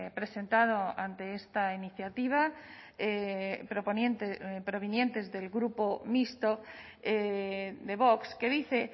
presentado ante esta iniciativa provenientes del grupo mixto de vox que dice